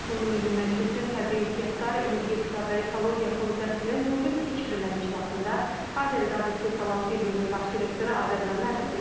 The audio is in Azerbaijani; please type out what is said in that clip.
Bunu Milli Məclisin təbii ehtiyatlar, energetika və ekologiya komitəsinin bu gün keçirilən iclasında Azəriqaz istehsalat birliyinin baş direktoru Azərməmmədov deyib.